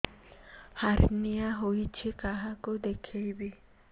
hernia ହୋଇଛି କାହାକୁ ଦେଖେଇବି